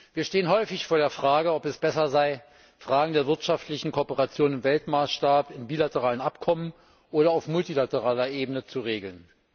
Wir stehen häufig vor der Frage ob es besser sei, Fragen der wirtschaftlichen Kooperation im Weltmaßstab, in bilateralen Abkommen oder auf multilateraler Ebene zu regeln.